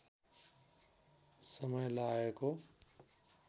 समय लागेको